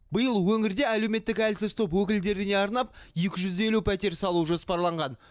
биыл өңірде әлеуметтік әлсіз топ өкілдеріне арнап екі жүз елу пәтер салу жоспарланған